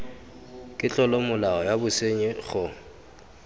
ke tlolomolao ya bosenyi go